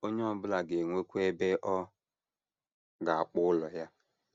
Onye ọ bụla ga - enwekwa ebe ọ ga - akpọ ụlọ ya.